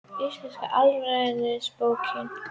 Íslenska alfræðiorðabókin.